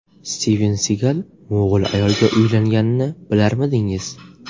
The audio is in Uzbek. Stiven Sigal mo‘g‘ul ayolga uylanganini bilarmidingiz?